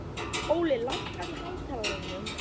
Óli, lækkaðu í hátalaranum.